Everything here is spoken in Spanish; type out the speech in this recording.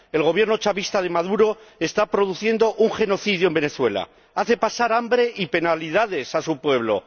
El Gobierno chavista de Maduro está produciendo un genocidio en Venezuela, hace pasar hambre y penalidades a su pueblo.